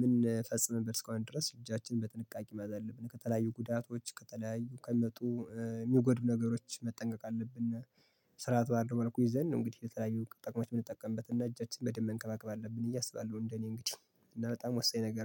የምንፈጽምበት እስካሆነ ድረስ እጃችን በጥንቃቄ መያዝ አለብን ከተለያዩ ጉዳቶች ከተለያዩ ከሚመጡ የሚጎዱ ነገሮች መጠንቀቅ አለብነ። ስርዓት ባለው መልኩ ይዘን ነው እንግዲህ የተለያዩ ጥቅሞች የምንጠቀምበት እና እጃችን በደንብ መንከባከብ አለብን ብየ እያሰባለሁ እንደኔ እንግዲህ እና በጣም ወሳኝ ነገር ነው